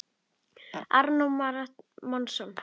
Arnór Már Másson.